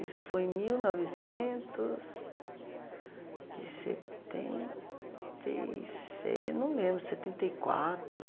Isso foi em mil novecentos e setenta e seis, eu não lembro, setenta e quatro.